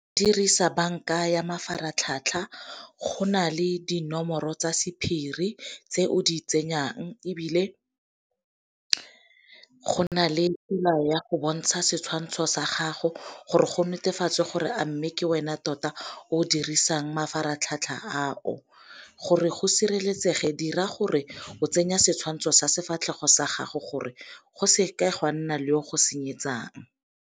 Dirisa banka ya mafaratlhatlha go na le dinomoro tsa sephiri tse o di tsenyang, ebile go na le tsela ya go bontsha setshwantsho sa gago gore go netefatswe gore a mme ke wena tota o dirisang mafaratlhatlha a o. Gore go sireletsege dira gore o tsenya setshwantsho sefatlhego sa gago gore go seke ga nna le o go senyetsang.